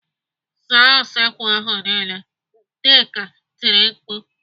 "Zaa usekwu ahụ niile!" Nneka tiri mkpu.